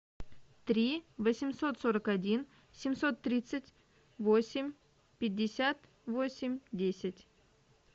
три восемьсот сорок один семьсот тридцать восемь пятьдесят восемь десять